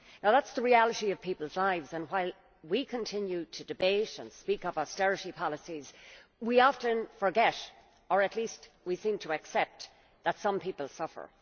That is the reality of people's lives and while we continue to debate and speak of austerity policies, we often forget, or at least we seem to accept, that some people suffer.